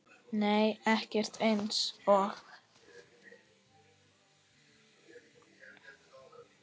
Nei ekkert eins og